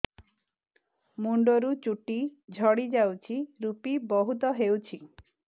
ମୁଣ୍ଡରୁ ଚୁଟି ଝଡି ଯାଉଛି ଋପି ବହୁତ ହେଉଛି